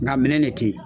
Nka minɛn de tɛ yen